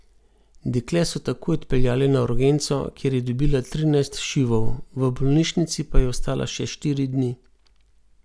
Dekle so takoj odpeljali na urgenco, kjer je dobila trinajst šivov, v bolnišnici pa je ostala še štiri dni.